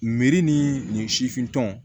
Meri ni nin sifin tɔn